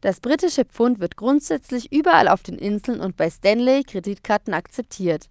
das britische pfund wird grundsätzlich überall auf den inseln und bei stanley-kreditkarten akzeptiert